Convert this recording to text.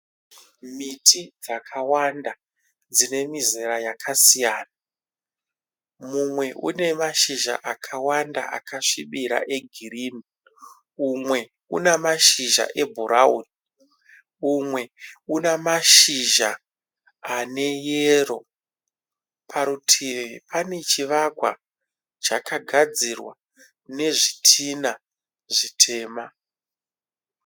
Miti dzakawanda dzine mizera yakasiyana. Mumwe une mashizha akawanda akasvibira egirini. Umwe una mashizha ebhurauni. Umwe una mashizha aneyero. Parutivi pane chivakwa chakagadzirwa nezvitinha zvitema.